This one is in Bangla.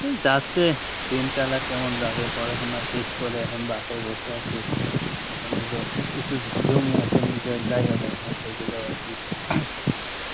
হম যাচ্ছে দিনকাল আর কেমন যাবে, পড়াশোনা শেষ করে এখন বাসায় বসে আছি এখন যে কিছু জমি আছে নিজের জায়গা জমি আছে এগুলোই আরকি